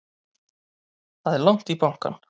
Það er langt í bankann!